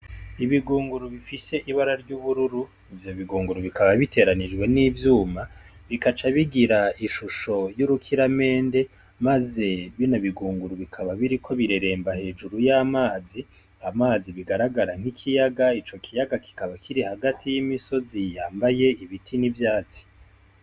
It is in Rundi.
Ibigunguru bifise ibara ry'ubururu, ivyo bigunguru bikaba bitoranijwe n'ivyuma bikaca bigira ishusho y'urukiramende maze bibi bigunguru bikaba biriko bireremba hejuru y'amazi, amazi bigaragara nk'ikiyaga, ico kiyaga kikaba kiri hagati y'imisozi yambaye ibiti n'ivyatsi.